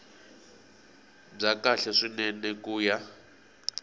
bya kahle swinene ku ya